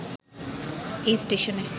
এই স্টেশনে